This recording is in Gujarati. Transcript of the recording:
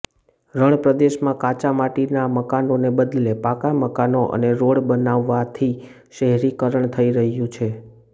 રણ પ્રદેશમાં કાચાં માટીનાં મકાનોને બદલે પાકા મકાનો અને રોડ બનવાથી શહેરીકરણ થઈ રહ્યું છે